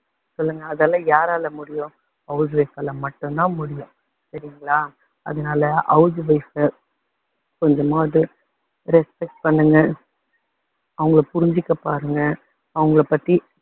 சொல்லுங்க, அதெல்லாம் யாரால முடியும் house wife ஆல மட்டும் தான் முடியும். சரிங்களா அதனால house wife அ கொஞ்சமாவது respect பண்ணுங்க. அவங்களை புரிஞ்சுக்க பாருங்க. அவங்களை பத்தி